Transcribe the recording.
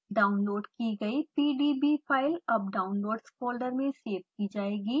download की गयी pdb file अब downloads फोल्डर में सेव की जाएगी